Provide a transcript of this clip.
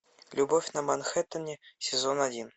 любовь на манхэттене сезон один